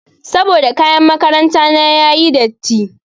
Saboda kayan makaranta na yayi datti.